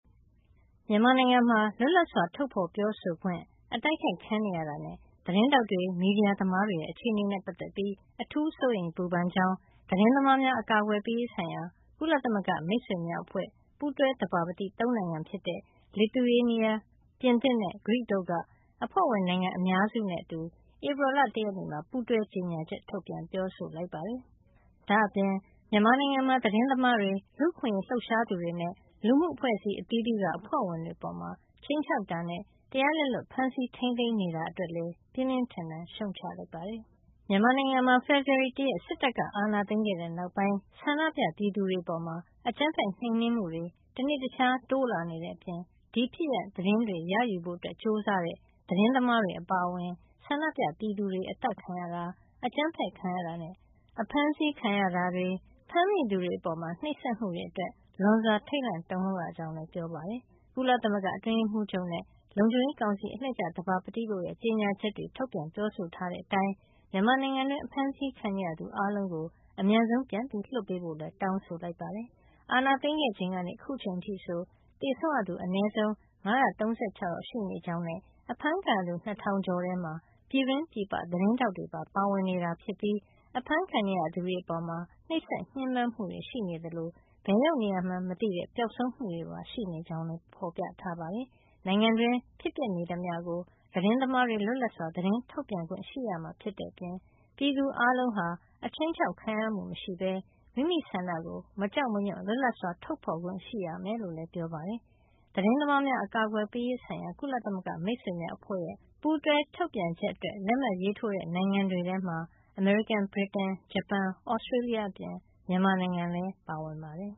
မြန်မာနိုင်ငံမှာ လွတ်လပ်စွာ ထုတ်ဖေါ်ပြောဆိုခွင့် အတိုက်ခိုက်ခံနေရတာနဲ့ သတင်းထောက်တွေ၊ မီဒီယာသမားတွေရဲ့ အခြေအနေနဲ့ ပတ်သက်ပြီး အထူးစိုးရိမ် ပူပန်ကြောင်း သတင်းသမားများ အကာကွယ်ပေးရေးဆိုင်ရာ ကုလသမဂ္ဂမိတ်ဆွေများအဖွဲ့ ပူးတွဲသဘာပတိ ၃ နိုင်ငံဖြစ်တဲ့ Lithuania၊ ပြင်သစ်နဲ့ ဂရိတို့က အဖွဲ့ဝင်နိုင်ငံအများစုနဲ့အတူ ဧပြီလ ၁ ရက်နေ့မှာ ပူးတွဲ ကြေညာချက် ထုတ်ပြန်ပြောဆိုပါတယ်။ ဒါ့အပြင် မြန်မာနိုင်ငံမှာ သတင်းသမားတွေ၊ လူအခွင့်ရေးလှုပ်ရှားသူတွေနဲ့ လူမှုအဖွဲ့အစည်းအသီးသီးက အဖွဲ့ဝင်တွေ အပေါ် ခြိမ်းခြောက်တာနဲ့ တရားလက်လွတ် ဖမ်းဆီး ထိန်းသိမ်းနေတာတွေ အတွက်လည်း ပြင်းပြင်းထန်ထန် ရှုတ်ချလိုက်ပါတယ်။ မြန်မာနိုင်ငံမှာ ဖေဖေါ်ဝါရီ ၁ ရက် စစ်တပ်က အာဏာသိမ်းခဲ့တဲ့နောက်ပိုင်း ဆန္ဒပြပြည်သူတွေ အပေါ် အကြမ်းဖက်နှိမ်နင်းမှုတွေ တနေ့တခြားတိုးလာနေတဲ့အပြင် ဒီဖြစ်ရပ် သတင်းတွေ ရယူဖို့ ကြိုးစားတဲ့ သတင်းသမားတွေ အပါအဝင် ဆန္ဒပြပြည်သူတွေ အသတ်ခံရတာ၊ အကြမ်းဖက်ခံရတာနဲ့ အဖမ်းဆီးခံရတာတွေ၊ ဖမ်းမိသူတွေအပေါ် နှိပ်စက်မှုတွေအတွက် လွန်စွာထိတ်လန့် တုန်လှုပ်ရကြောင်း ပြောပါတယ်။ ကုလသမဂ္ဂအတွင်းရေးမှူးချုပ်နဲ့ လုံခြုံရေးကောင်စီ အလှည့်ကျ သဘာပတိတို့ ကြေညာချက်တွေ ထုတ်ပြန်ပြောဆိုထားတဲ့ အတိုင်း မြန်မာနိုင်ငံတွင်း အဖမ်းဆီးခံနေရသူအားလုံးကို အမြန်ဆုံး ပြန်လွှတ်ပေးဖို့လည်း တောင်းဆိုလိုက်ပါတယ်။ အာဏာသိမ်းခဲ့ချိန်ကနေ အခုချိန်အထိဆို သေဆုံးရသူ အနည်းဆုံး ၅၃၆ ယောက် ရှိနေကြောင်းနဲ့ အဖမ်းခံရသူ ၂၀၀၀ ကျော်ထဲမှာ ပြည်တွင်း၊ ပြည်ပ သတင်းထောက်တွေ ပါ ပါဝင်နေတာ ဖြစ်ပြီး အဖမ်းခံနေရသူတွေ အပေါ် နှိပ်စက်ညှဉ်းပမ်းမှုတွေ ရှိနေသလို ဘယ်ရောက်နေမှန်းမသိ ပျောက်ဆုံးမှုတွေပါ ရှိနေကြောင်းလည်း ပြောပါတယ်။ နိုင်ငံတွင်း ဖြစ်ပျက်နေသမျှ ကို သတင်းသမားတွေ လွတ်လပ်စွာ သတင်းထုတ်ပြန်ခွင့်ရှိရမှာဖြစ်တဲ့ အပြင် ပြည်သူအားလုံးဟာ အခြိမ်းခြောက် ခံရမှုမရှိပဲ မိမိဆန္ဒကို မကြောက်မရွံ့ လွတ်လပ်စွာထုတ်ဖေါ်ခွင့် ရှိရမှာ ဖြစ်ကြောင်းလည်း ပြောပါတယ်။ သတင်းသမားများအကာကွယ်ပေးရေး ဆိုင်ရာ ကုလသမဂ္ဂမိတ်ဆွေများအဖွဲ့ရဲ့ ပူးတွဲထုတ်ပြန်ချက်အတွက် လက်မှတ်ရေးထိုးတဲ့ နိုင်ငံတွေထဲမှာ အမေရိကန်၊ ဗြိတိန်၊ ဂျပန်၊ Australia အပြင် မြန်မာနိုင်ငံလည်း ပါဝင်ပါတယ်